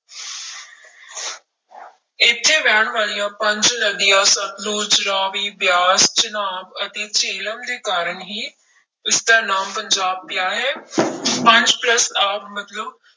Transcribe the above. ਇੱਥੇ ਵਹਿਣ ਵਾਲੀਆਂ ਪੰਜ ਨਦੀਆਂ ਸਤਲੁਜ, ਰਾਵੀ, ਬਿਆਸ, ਚਨਾਬ ਅਤੇ ਜਿਹਲਮ ਦੇ ਕਾਰਨ ਹੀ ਇਸਦਾ ਨਾਮ ਪੰਜਾਬ ਪਿਆ ਹੈ ਪੰਜ plus ਆਬ ਮਤਲਬ